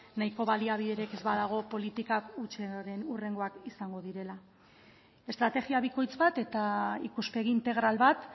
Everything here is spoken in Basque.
nahiko baliabiderik ez badago politikak hutsaren hurrengoak izango direla estrategia bikoitz bat eta ikuspegi integral bat